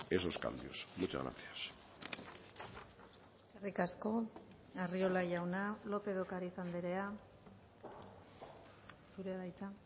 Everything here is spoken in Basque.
esos cambios muchas gracias eskerrik asko arriola jauna lópez de ocariz andrea zurea da hitza